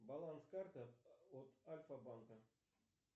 баланс карты от альфа банка